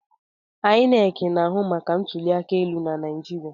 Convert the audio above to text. INEC na-ahụ maka ntụli aka elu na Naịjirịa.